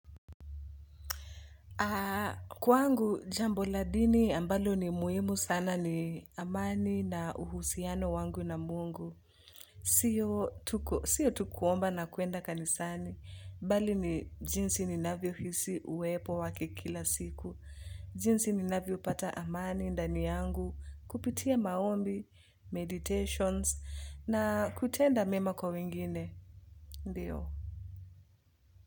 Kwangu, jambo la dini ambalo ni muhimu sana ni amani na uhusiano wangu na mungu. Sio tu kuomba na kuenda kanisani. Bali ni jinsi ninavyo hisi uwepo wake kila siku. Jinsi ninavyo pata amani, ndani yangu, kupitia maombi, meditations, na kutenda mema kwa wengine. Ndiyo.